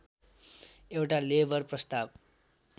एउटा लेबर प्रस्ताव